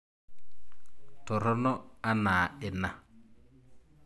Torono ana ina?